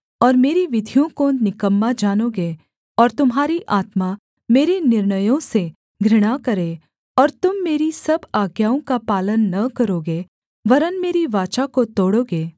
और मेरी विधियों को निकम्मा जानोगे और तुम्हारी आत्मा मेरे निर्णयों से घृणा करे और तुम मेरी सब आज्ञाओं का पालन न करोगे वरन् मेरी वाचा को तोड़ोगे